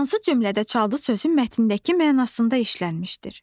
Hansı cümlədə 'çaldı' sözü mətndəki mənasında işlənmişdir?